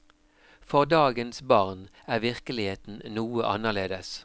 For dagens barn er virkeligheten noe annerledes.